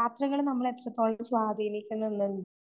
യാത്രകൾ നമ്മൾ എത്രത്തോളം സ്വാധീനിക്കുന്നുണ്ടന്ന്.